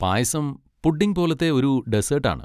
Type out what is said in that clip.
പായസം pudding പോലത്തെ ഒരു dessert ആണ്.